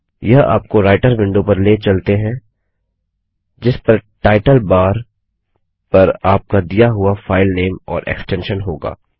यह आपको writer window पर ले चलते हैं जिस पर टाइटल बार पर आपका दिया हुआ फाइलनेम और एक्सटेंशन होगा